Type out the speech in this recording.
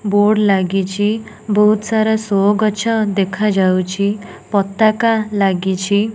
Board ଲାଗିଚି। ବହୁତସାରା show ଗଛ ଦେଖାଯାଉଚି। ପତାକା ଲାଗିଚି।